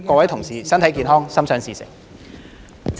各位同事身體健康，心想事成。